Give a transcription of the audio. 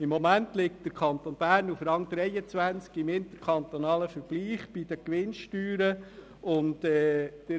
Im Moment liegt der Kanton Bern im interkantonalen Vergleich bei den Gewinnsteuern auf Rang 23.